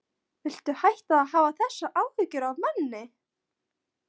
Viltu hætta að hafa þessar áhyggjur af manni!